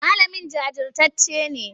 Malamin jajirtacce ne?